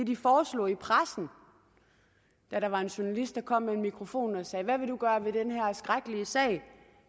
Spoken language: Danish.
de foreslog i pressen da der var en journalist der kom med en mikrofon og sagde hvad vil man gøre ved den her skrækkelige sag